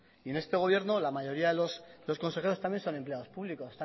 y en este gobierno la mayoría de los consejeros también son empleados públicos